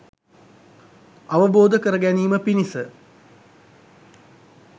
අවබෝධ කරගැනීම පිණිස